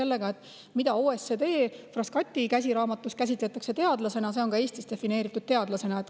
See, keda OECD Frascati käsiraamatus käsitletakse teadlasena, on ka Eestis defineeritud teadlasena.